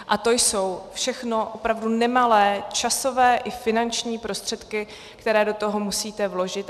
A to jsou všechno opravdu nemalé časové i finanční prostředky, které do toho musíte vložit.